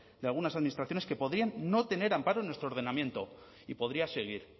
de algunas administraciones que podrían no tener amparo en nuestro ordenamiento y podría seguir